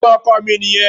Ẹ̀gbọ́n ọkọ mi nìyẹn.